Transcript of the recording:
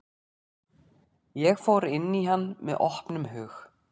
Ég fór inn í hann með opnum hug.